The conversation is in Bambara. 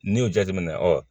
N'i y'o jate minɛ